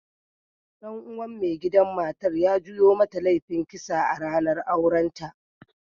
Dan uwan maigidan matan ya juyo mata laifin kisa a'ranan auren ta.